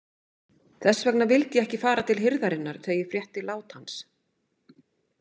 Þess vegna vildi ég ekki fara til hirðarinnar þegar ég frétti lát hans.